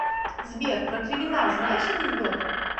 сбер про криминал знаешь анекдот